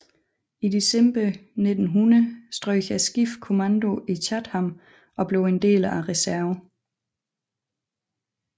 I december 1900 strøg skibet kommando i Chatham og blev en del af reserven